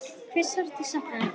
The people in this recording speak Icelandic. Hve sárt ég sakna þín.